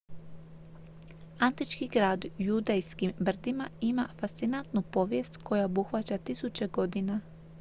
antički grad u judejskim brdima ima fascinantnu povijest koja obuhvaća tisuće godina